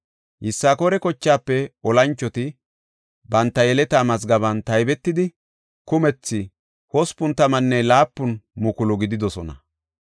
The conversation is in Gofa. Yisakoora kochaafe olanchoti banta yeletaa mazgaben taybetidi, kumethi 87,000 gididosona.